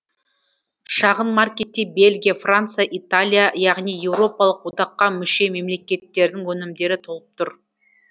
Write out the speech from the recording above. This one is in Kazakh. шағын маркетте бельгия франция италия яғни еуропалық одаққа мүше мемлекеттердің өнімдері толып тұр